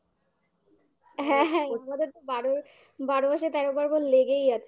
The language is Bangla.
হ্যাঁ হ্যাঁ আমাদের তো বারোই বারো মাসে তেরো পার্বণ লেগেই আছে